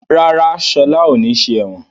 Rárá, Ṣọlá ò ní ṣe ẹ̀wọ̀n.